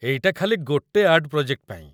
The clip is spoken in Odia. ଏଇଟା ଖାଲି ଗୋଟେ ଆର୍ଟ ପ୍ରୋଜେକ୍ଟ ପାଇଁ ।